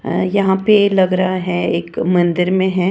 यहां पे लग रहा है एक मंदिर में है।